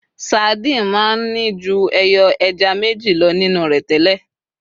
sardine ma n Ni ju eyo ẹja meji lo nínu rẹ tẹlẹ